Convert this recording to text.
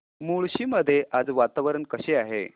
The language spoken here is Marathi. मुळशी मध्ये आज वातावरण कसे आहे